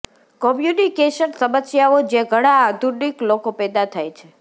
communication સમસ્યાઓ જે ધણા આધુનિક લોકો પેદા થાય છે